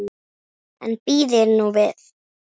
En bíðið nú við.